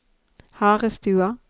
Harestua